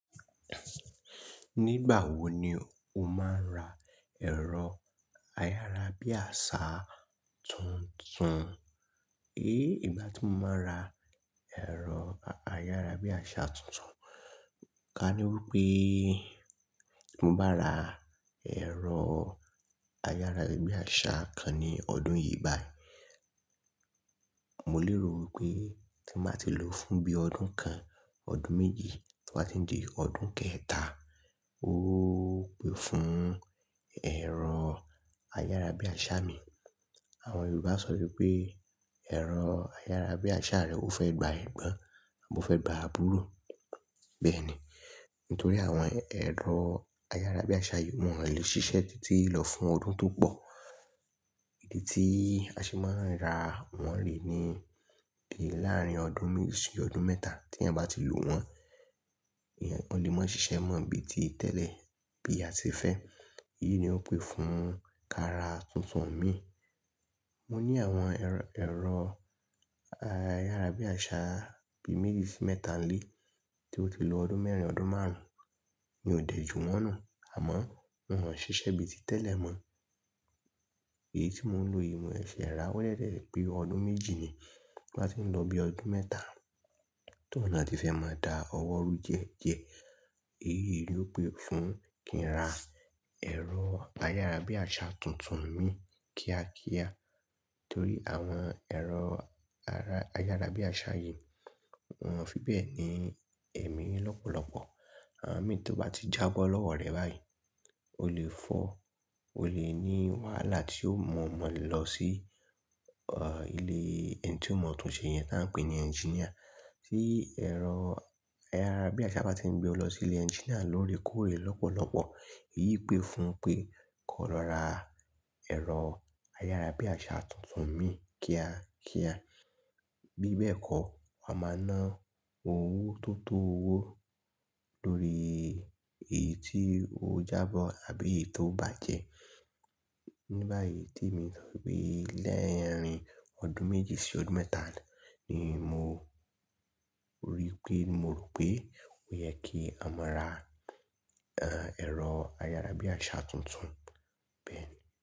Nígbà wo ni o máa ń ra ẹ̀rọ ayárabíàṣá tuntun? É, ìgbà tí mo máa ra ẹ̀rọ ayárabíàṣá tuntun, ká ní wípé tí mo bá ra ẹ̀rọ ayárabíàṣá kan ní ọdún yìí báyìí, mo lè rò wípé tí máa ti lò ó fún bí ọdún kan, ọdún méjì, tí bá ti ń di ọdún kẹ́ẹ̀ta. Ó pé fún ẹ̀rọ ayárabíàṣá mi. Àwọn Yorùbá sọ wípé, "ẹ̀rọ ayárabíàṣá rẹ ó fẹ́ gba ẹ̀gbọ́n, a bo fẹ́ gba àbúrò." Bẹ́ẹ̀ ni. Nítorí àwọn ẹ̀rọ ayárabíàṣá yìí wọn ò lè ṣiṣẹ́ títí lọ fún ọdún tó pọ̀. Ìdí tí a ṣe máa ń ra wọ́n rè ni pé láàrín ọdún méjì sí ọdún mẹ́ta tí èèyàn bá ti lò wọ́n, yẹn wọn lè máa ṣiṣẹ́ mọ́ bí i tí tẹ́lẹ̀ bí a ṣe fẹ́. Èyí ni ó pé fún kí a ra tuntun mi. Mo ní àwọn ẹ̀rọ, ẹ̀rọ ayárabíàṣá bíi méjì sí mẹ́ta nílé, tí ó ti lo ọdún mẹ́rin, ọdún márùn-ún. Mi ò dẹ̀ ju wọ́n nù, àmọ́ wọn ò ṣiṣẹ́ bí i tí tẹ́lẹ̀ mọ̀ọ́ èyí tí mò ń lo yìí, mò ń fẹ́ rà bódẹ̀ tiẹ̀ jẹ́ pé ọdún méjì ni tí wá ti ń lọ bí ọdún mẹ́ta, tó òhun tí fẹ́ máa da ọwọ́ rú díẹ̀díẹ̀. Èyí ni ó pé fún kí n ra ẹ̀rọ ayárabíàṣá tuntun mi kíákíá. Torí àwọn ẹ̀rọ ayárabíàṣá yìí wọn fi bẹ̀ ni ẹ̀mí lọ́pọ̀lọ́pọ̀. Àwọn mii tí ó bá ti jábọ́ lọ́wọ́ rẹ báyìí, ó lè fọ́, o lè ní wàhálà tí ò mọ̀ mọ̀ lọ sí, ọ̀, ilé ẹni tí ó mọ̀ túnṣe yẹn tá ń pè ní ẹnjíníà. Tí ẹ̀rọ ayárabíàṣá bá ti ń gbé ọ lọ sí ilé ẹnjíníà lóore kóòre lọ́pọ̀lọ́pọ̀. Èyí pé fún pé kó lọ ra ẹ̀rọ ayárabíàṣá tuntun mi kíákíá. Bí bẹ́ẹ̀ kọ́, a máa ná owó tó tó owó lórí èyí tí ó jábọ́ àbí èyí tó bàjẹ́. Ní báyìí tí mi ń sọ wípé lẹ́yìn ọdún méjì sí ọdún mẹ́ta ni mò ń rí pé, mo rò pé ó yẹ kí a máa ra, ẹ́, ẹ̀rọ ayárabíàṣá tuntun. Bẹ́ẹ̀ ni.